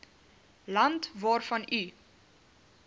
land waarvan u